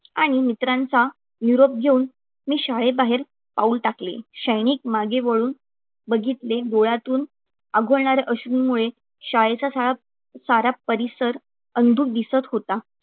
आणि मित्रांचा निरोप घेऊन मी शाळेबाहेर पाऊल टाकले. क्षणिक मागे वळून बघितले, डोळ्यातून आघोळणारे अश्रुमुळे शाळेचा सारा सारा परिसर अंधुक दिसत होता.